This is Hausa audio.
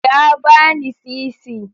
Ya bani sisi.